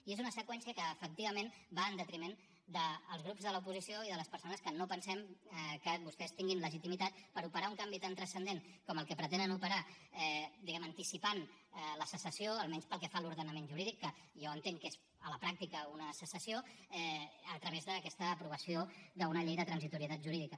i és una seqüència que efectivament va en detriment dels grups de l’oposició i de les persones que no pensem que vostès tinguin legitimitat per operar un canvi tan transcendent com el que pretenen operar diguem ne anticipant la secessió almenys pel que fa a l’ordenament jurídic que jo entenc que és a la pràctica una secessió a través d’aquesta aprovació d’una llei de transitorietat jurídica